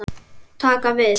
Taka við?